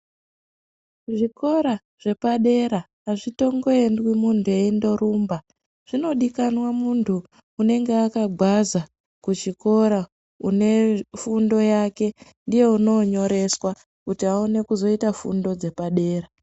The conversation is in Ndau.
Kuzvikora zvepadera azvitongoendwi munthu eindorumba zvinodikanwa munthu unenge akagwaza kuchikora une fundo yake ndiye unoonyoreswa kuti aone kuzoita fundo dzepadera.